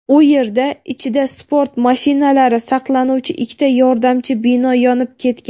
U yerda ichida sport mashinalari saqlanuvchi ikkita yordamchi bino yonib ketgan.